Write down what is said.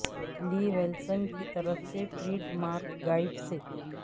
لی ولسن کی طرف سے ٹریڈ مارک گائیڈ سے